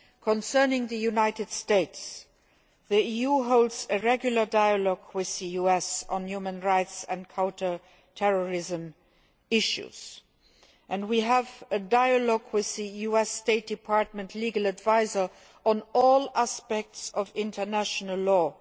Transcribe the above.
Concerning the United States, the EU holds a regular dialogue with the US on human rights and counter terrorism issues, and we have a dialogue with the US State Department legal adviser on all aspects of international law.